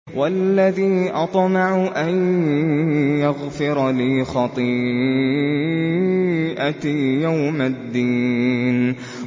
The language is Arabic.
وَالَّذِي أَطْمَعُ أَن يَغْفِرَ لِي خَطِيئَتِي يَوْمَ الدِّينِ